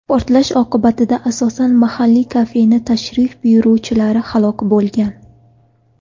Portlash oqibatida asosan mahalliy kafening tashrif buyuruvchilari halok bo‘lgan.